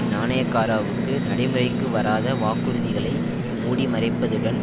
நாணயக்காராவுக்கு நடைமுறைக்கு வராத வாக்குறுதிகளை மூடி மறைப்பதுடன்